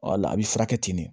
a bɛ furakɛ ten de